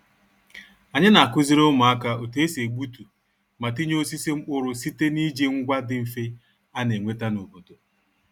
Anyị na-akụziri ụmụaka otu e si egbutu ma tinye osisi mkpụrụ site n'iji ngwa dị mfe a na-enweta n'obodo